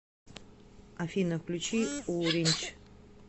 афина включи урич